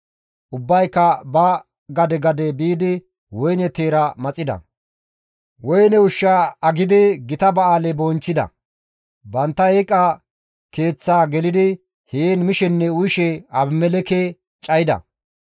Ubbayka ba gade gade biidi woyne teera maxida; woyne ushshaa aggidi gita ba7aale bonchchida; bantta eeqa keeththaa gelidi heen mishenne uyishe Abimelekke cayida.